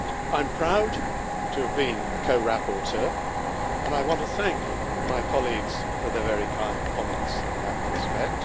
I am proud to have been co rapporteur and I want to thank my colleagues for their very kind comments in that respect.